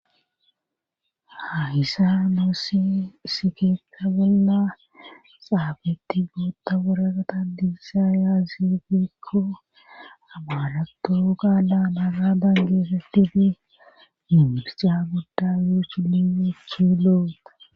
ha hissa loossi isikeetta bolla xaabetti gootta woraqata diissa yaazifikko abaaratto gaala mara dangeessettifi mimirsca godda yoch linechi loota